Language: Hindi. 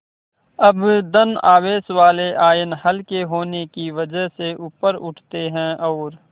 अब धन आवेश वाले आयन हल्के होने की वजह से ऊपर उठते हैं और